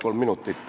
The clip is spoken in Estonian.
Palun jah!